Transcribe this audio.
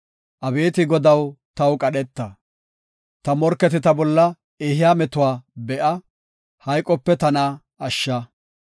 Abeeti Godaw, taw qadheta; ta morketi ta bolla ehiya metuwa be7a; hayqope tana ashsha.